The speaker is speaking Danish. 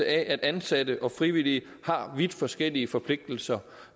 at ansatte og frivillige har vidt forskellige forpligtelser